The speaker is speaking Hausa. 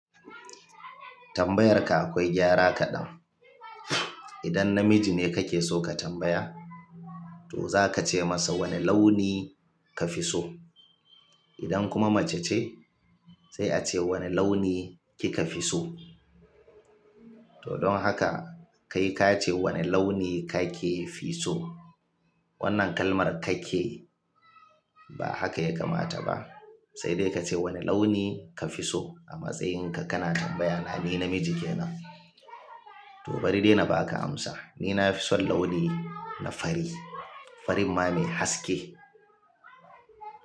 Tambayar ka akwai gyara kaɗan. Idan na miji ne kake so ka tambaya, to zaka ce masa wane launi ka fi so? Idan kuma mace ce, sai a ce wane launi kika fi so? To don haka kai ka ce wane launi ka ke fi so? Wannan kalmar "ka ke" ba haka ya kamata ba, sai dai ka ce wane launi ka fi so a matsayin ka, kana tambaya ni namiji ke nan. To bari dai na baka amsa. Ni na fi son launi na fari. Farin ma mai haske.